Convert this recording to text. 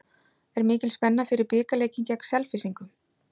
Er mikil spenna fyrir bikarleikinn gegn Selfyssingum?